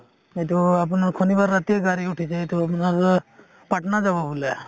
এইটো আপোনাৰ শনিবাৰ ৰাতিয়ে গাড়ী উঠিছে এইটো আপোনাৰ অ পাটনা যাব বোলে